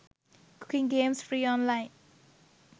cooking games free online